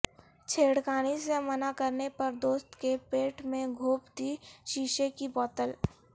چھیڑخانی سے منع کرنے پر دوست کے پیٹ میں گھونپ دی شیشے کی بوتل